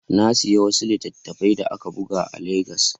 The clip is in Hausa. Na sayi wani littafi da aka buga a Legas.